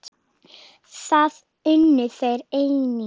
Það unnu þeir einnig.